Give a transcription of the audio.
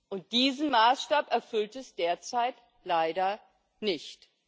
Und diesen Maßstab erfüllt es derzeit leider nicht.